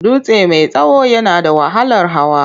Dutse mai tsawo yana da wahalar hawa.